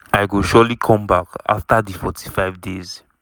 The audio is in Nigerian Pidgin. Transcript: i go surely come back afta di 45 days."